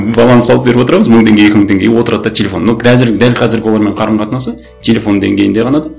баланс салып беріп отырамыз мың теңге екі мың теңге и отырады да телефон но қазір дәл қазіргі оның қарым қатынасы телефон деңгейінде ғана да